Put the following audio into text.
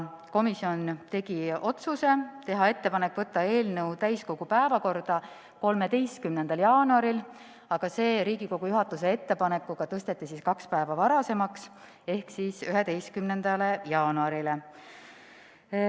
Komisjon tegi ettepaneku võtta eelnõu täiskogu päevakorda 13. jaanuariks, aga Riigikogu juhatuse ettepanekuga tõsteti see kaks päeva varasemaks ehk siis jäi 11. jaanuarile.